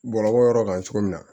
Bɔlɔlɔ kan cogo min na